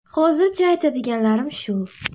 Hozircha aytadiganlarim shu...